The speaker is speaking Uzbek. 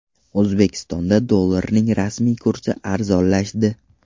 O‘zbekistonda dollarning rasmiy kursi arzonlashdi .